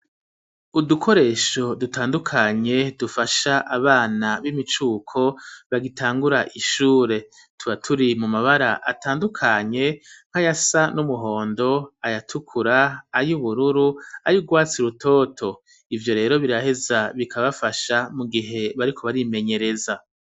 Udukoresho dutandukanye dufasha abana b'imicuko bagitangura ishure tuba turi mu mabara atandukanye nkayasa n'umuhondo ayatukura ayubururu ayurwatsi rutoto ivyo rero biraheza bikabafasha mu gihe bariko barimenyereza.